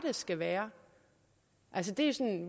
skal være altså